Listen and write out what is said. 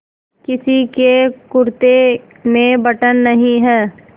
किसी के कुरते में बटन नहीं है